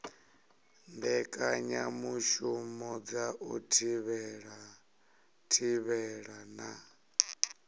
mbekanyamushumo dza u thivhela na